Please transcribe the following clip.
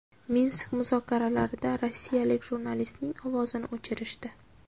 Minsk muzokaralarida rossiyalik jurnalistning ovozini o‘chirishdi .